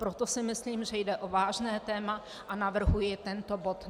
Proto si myslím, že jde o vážné téma, a navrhuji tento bod.